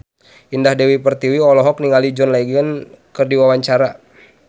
Indah Dewi Pertiwi olohok ningali John Legend keur diwawancara